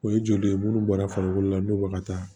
O ye joli ye munnu bɔra farikolo la don bɛ ka taa